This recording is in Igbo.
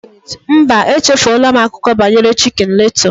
Mba, echefuola m akụkọ banyere Chicken Little